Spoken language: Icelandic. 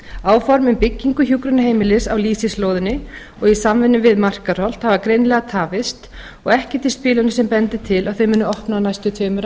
áform um byggingu hjúkrunarheimilis á lýsislóðinni og í samvinnu við markaðshald hafa greinilega tafist og ekkert í spilunum sem bendir til að þau munu opna á næstu tveimur